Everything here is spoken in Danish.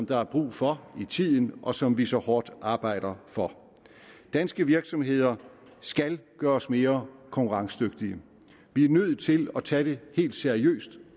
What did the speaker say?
der er brug for i tiden og som vi så hårdt arbejder for danske virksomheder skal gøres mere konkurrencedygtige vi er nødt til at tage det helt seriøst